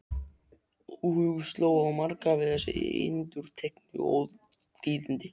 Óhug sló á marga við þessi endurteknu ótíðindi.